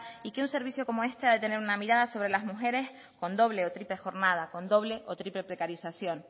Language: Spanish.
y que un servicio como este ha de tener una mirada sobre las mujeres con doble o triple jornada con doble o triple precarización